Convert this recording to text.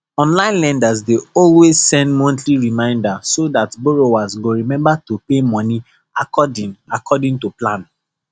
online lenders dey always send monthly reminder so dat borrowers go remember to pay money according according to plan